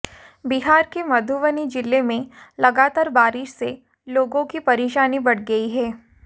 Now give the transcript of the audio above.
बिहार के मधुबनी जिले में लगातार बारिश से लोगों की परेशानी बढ़ गई है